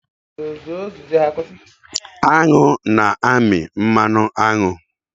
Aṅụ na-amị mmanụ aṅụ.